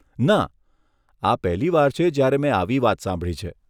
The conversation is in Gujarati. ના, આ પહેલીવાર છે જ્યારે મેં આવી વાત સાંભળી છે!